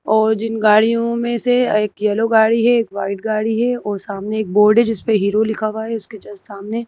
और जिन गाड़ियों में से एक यलो गाड़ी है एक वाइट गाड़ी है और सामने एक बोर्ड है जिस पे हीरो लिखा हुआ है उसके जस्ट सामने--